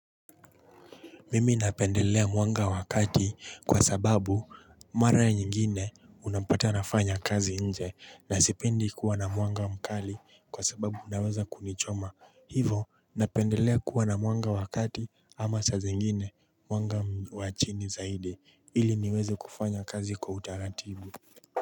Mimi napendelea mwanga wakati kwa sababu mara nyingine unapata nafanya kazi nje na sipendi kuwa na mwanga mkali kwa sababu unaweza kunichoma hivo napendelea kuwa na mwanga wakati ama sa zingine mwanga wachini zaidi ili niweze kufanya kazi kwa utaratibu.